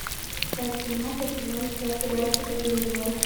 часть семнадцать сезона два сериальчика ганнибал